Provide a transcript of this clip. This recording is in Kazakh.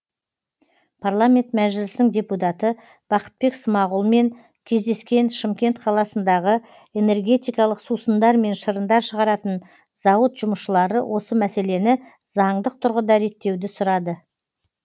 парламент мәжілісінің депутаты бақытбек смағұлмен кездескен шымкент қаласындағы энергетикалық сусындар мен шырындар шығаратын зауыт жұмысшылары осы мәселені заңдық тұрғыда реттеуді сұрады